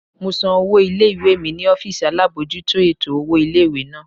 Mo san owó ilé-ìwé mi ní ọ́fìsì alábojútó ètò owó ilé-ìwé náà